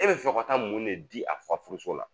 E bɛ fɛ ka taa mun de di a fa furuso la